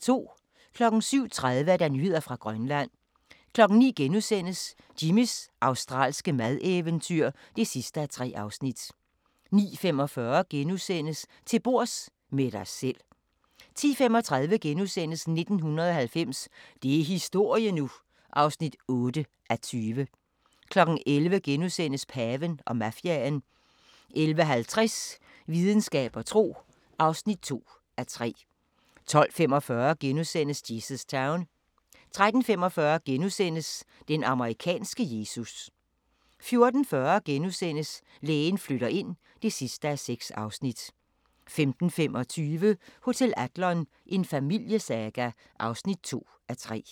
07:30: Nyheder fra Grønland 09:00: Jimmys australske madeventyr (3:3)* 09:45: Til bords – med dig selv * 10:35: 1990 – det er historie nu! (8:20)* 11:00: Paven og mafiaen * 11:50: Videnskab og tro (2:3) 12:45: Jesus Town * 13:45: Den amerikanske Jesus * 14:40: Lægen flytter ind (6:6)* 15:25: Hotel Adlon – en familiesaga (2:3)